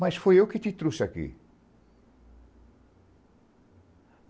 Mas foi eu que te trouxe aqui.